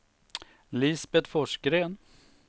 Lisbet Forsgren